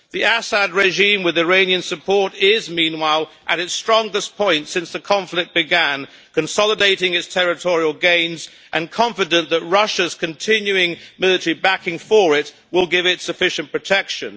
The Assad regime, with Iranian support, is meanwhile at its strongest point since the conflict began, consolidating its territorial gains and confident that Russia's continuing military backing for it will give it sufficient protection.